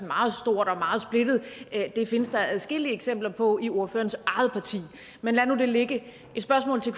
meget stort og meget splittet findes der adskillige eksempler på i ordførerens eget parti man lad nu det ligge et spørgsmål til